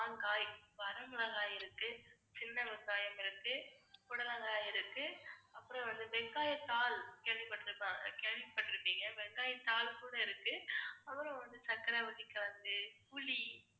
வரமிளகாய் இருக்கு, சின்ன வெங்காயம் இருக்கு, புடலங்காய் இருக்கு, அப்புறம் வந்து வெங்காயத்தாள், கேள்விப்பட்ருப்பாங்க~ கேள்விப்பட்டிருப்பீங்க வெங்காயத்தாள் கூட இருக்கு, அப்புறம் வந்து சர்க்கரைவள்ளிக்கிழங்கு, புளி